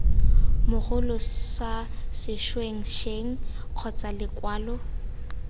mogolo sa sešwengšeng kgotsa lekwalo